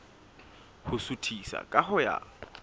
ho suthisa ka ho ya